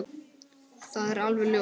Það er alveg ljóst.